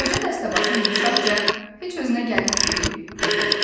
Qoca dəstəbaşı yumşaqca "heç özünə gəlib ki?" dedi.